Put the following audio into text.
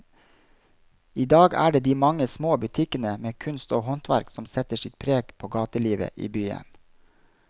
I dag er det de mange små butikkene med kunst og håndverk som setter sitt preg på gatelivet i byen.